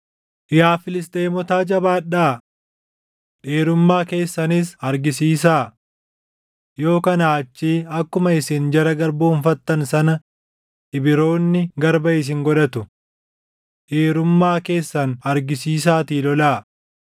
Yaa Filisxeemotaa jabaadhaa! Dhiirummaa keessanis argisiisaa. Yoo kanaa achii akkuma isin jara garboomfattan sana Ibroonni garba isin godhatu. Dhiirummaa keessan argisiisaatii lolaa!”